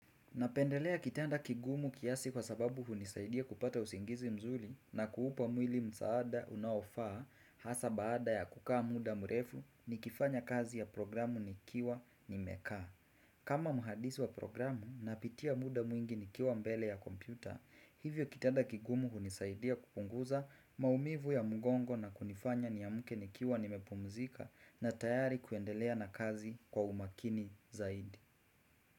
Napendelea kitanda kigumu kiasi kwa sababu hunisaidia kupata usingizi mzuli na kuupa mwili msaada unaofaa hasa baada ya kukaa muda mrefu ni kifanya kazi ya programu nikiwa nimekaa. Kama muhadisi wa programu na pitia muda mwingi nikiwa mbele ya kompyuta, hivyo kitanda kigumu hunisaidia kupunguza maumivu ya mgongo na kunifanya niamke nikiwa nimepumzika na tayari kuendelea na kazi kwa umakini zaidi.